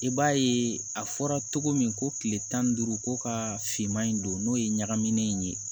I b'a ye a fɔra cogo min ko kile tan ni duuru ko ka finman in don n'o ye ɲagaminen in ye